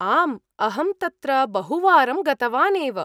आम्, अहं तत्र बहुवारं गतवान् एव।